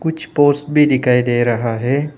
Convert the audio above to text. कुछ पोर्स भी दिखाई दे रहा है।